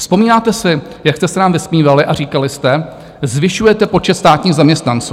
Vzpomínáte si, jak jste se nám vysmívali a říkali jste, zvyšujete počet státních zaměstnanců?